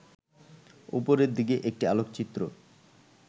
ওপরের দিকে একটি আলোকচিত্র